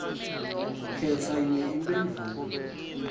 khetsa yinye imphendvulo